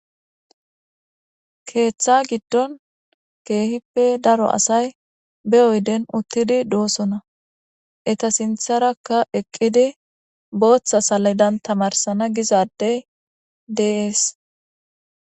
Keeththa giddon keehippe daro asay be oydden uththidi doosona. Eta sinththarakka eqidi booththa saledan tamaarisana giza adde de7ees.